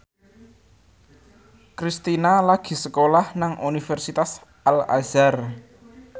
Kristina lagi sekolah nang Universitas Al Azhar